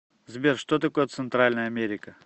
сбер что такое центральная америка